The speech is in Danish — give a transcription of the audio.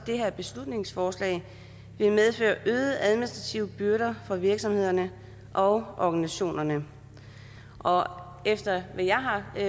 her beslutningsforslag vil medføre øgede administrative byrder for virksomhederne og organisationerne og efter hvad jeg har